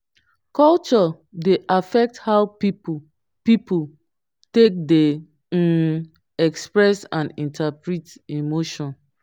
culture dey affect how pipo pipo take dey um express and interpret emotion